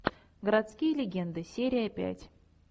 городские легенды серия пять